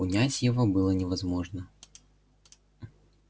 унять его было невозможно